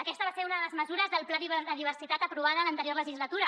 aquesta va ser una de les mesures del pla de diversitat aprovades en l’anterior legislatura